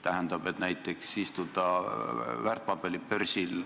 Näiteks kui igaüks istub väärtpaberibörsil,